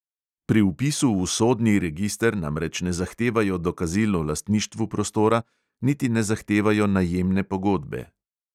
Pri vpisu v sodni register namreč ne zahtevajo dokazil o lastništvu prostora, niti ne zahtevajo najemne pogodbe.